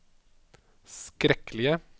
skrekkelige